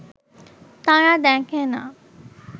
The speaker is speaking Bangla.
তারা দেখে না